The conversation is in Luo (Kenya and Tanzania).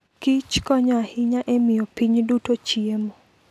Kich konyo ahinya e miyo piny duto chiemo.